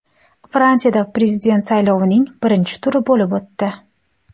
Fransiyada prezident saylovining birinchi turi bo‘lib o‘tdi .